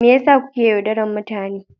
Me yasa kuke yaudarar mutane.